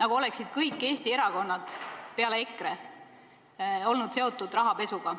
nagu oleksid kõik Eesti erakonnad peale EKRE olnud Eestis seotud rahapesuga.